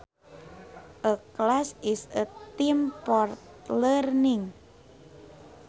A class is a time for learning